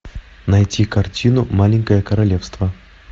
найти картину маленькое королевство